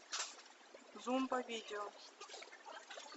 зомбовидео